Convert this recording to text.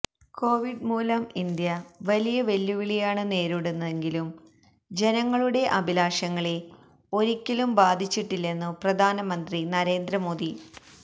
Covid മൂലം India വലിയ വെല്ലുവിളിയാണ് നേരിടുന്നതെങ്കിലും ജനങ്ങളുടെ അഭിലാഷങ്ങളെ ഒിക്കലും ബാധിച്ചിട്ടില്ലെന്നു പ്രധാനമന്ത്രി നരേന്ദ്ര മോദി